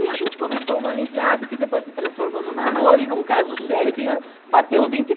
E a gente começou uma amizade que depois se transformou num namoro e num caso sério que já bateu vinte e